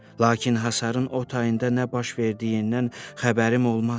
Lakin hasarın o tayında nə baş verdiyindən xəbərim olmazdı.